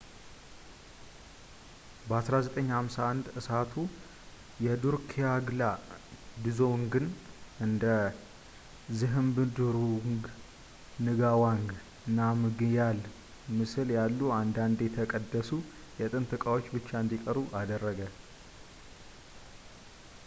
በ1951 እሳቱ የድሩክግያል ድዞንግን እንደ ዝሃብድሩንግ ንጋዋንግ ናምግያል ምስል ያሉ አንድአንድ የተቀደሱ የጥንት ዕቃዎች ብቻ እንዲቀሩ አደረገ